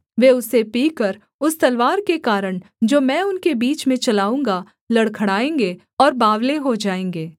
वे उसे पीकर उस तलवार के कारण जो मैं उनके बीच में चलाऊँगा लड़खड़ाएँगे और बावले हो जाएँगे